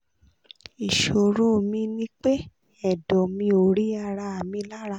ìṣòro mi ni pé ẹ̀dọ̀ mi ò rí ara mi lára